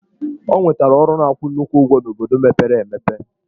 Ọ nwetara ọrụ na-akwụ nnukwu ụgwọ n'obodo mepere emepe.